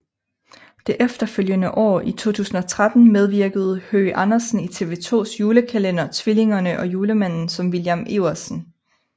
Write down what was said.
Det efterfølgende år i 2013 medvirkede Høgh Andersen i TV 2s julekalender Tvillingerne og Julemanden som William Iversen